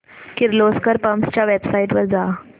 Kirloskar pumps च्या website वर जा